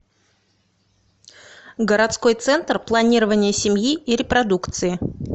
городской центр планирования семьи и репродукции